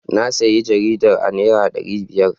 Na sayi jaridar a naira dari biyar.